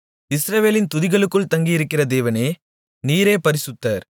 இஸ்ரவேலின் துதிகளுக்குள் தங்கியிருக்கிற தேவனே நீரே பரிசுத்தர்